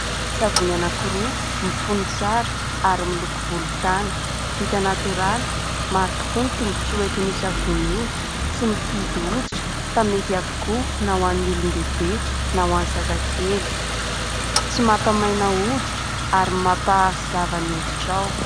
Savony anankiroa mifono tsrara ary miloko volontany, vita natoraly. Maro tokoa ny tombontsoa entin'io savony io : tsy mifidy hoditra fa mety avokoa na ho an'ny olon-dehibe na ho an'ny zazakely, tsy mampa-maina hoditra ary mampazava ny hoditrao.